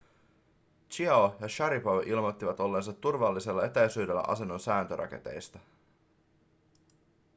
chiao ja šaripov ilmoittivat olleensa turvallisella etäisyydellä asennon säätöraketeista